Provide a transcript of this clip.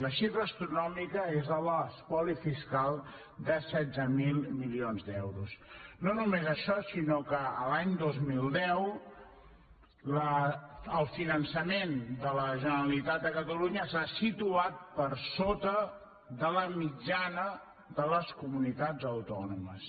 la xifra astronòmica és la de l’espoli fiscal de setze mil milions d’euros no només això sinó que l’any dos mil deu el finançament de la generalitat de catalunya s’ha situat per sota de la mitjana de les comunitats autònomes